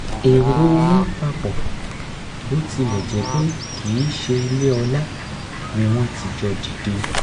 èrò wọn papọ̀ bó tilẹ̀ jẹ́ pé kìí ṣeilé ọlá ni wọ́n ti jọ dìde